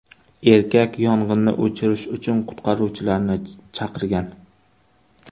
Erkak yong‘inni o‘chirish uchun qutqaruvchilarni chaqirgan.